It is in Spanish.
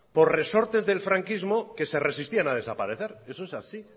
por resortes del franquismo que se resistían a desaparecer eso es así